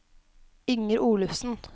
Inger Olufsen